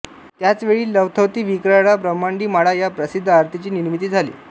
त्याच वेळी लवथवती विक्राळा ब्रम्हांडी माळा या प्रसिद्ध आरतीची निर्मिती झाली